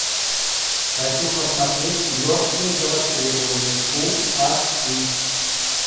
хочу посмотреть мертвые до востребования фул аш ди